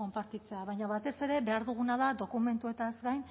konpartitzea baina batez ere behar duguna da dokumentuez gain